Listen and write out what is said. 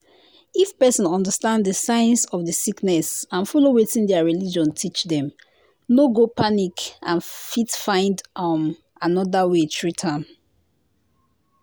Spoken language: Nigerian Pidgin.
if person understand the signs of the sickness and follow wetin their religion teach dem no go panic and fit find um another way treat am.